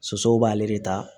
Sosow b'ale de ta